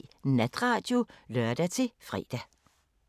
05:03: Natradio (lør-fre)